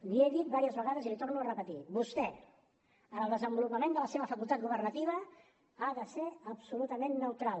li he dit diverses vegades i l’hi torno a repetir vostè en el desenvolupament de la seva facultat governativa ha de ser absolutament neutral